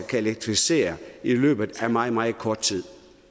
kan elektrificere i løbet af meget meget kort tid